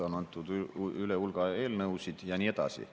On antud üle hulga eelnõusid ja nii edasi.